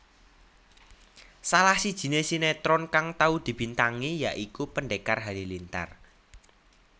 Salah sijine sinetron kang tau dibintangi ya iku Pendekar Halilintar